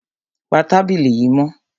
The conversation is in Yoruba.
Pa tábìlì yìí mọ́!